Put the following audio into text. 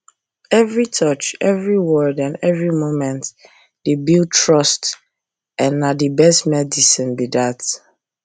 every touch every word and every moment dey build trustand na the best medicine be that